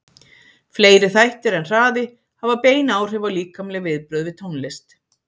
Fleiri þættir en hraði hafa bein áhrif á líkamleg viðbrögð við tónlist.